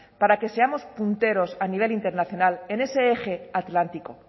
para que seamos punteros a nivel internacional en ese eje atlántico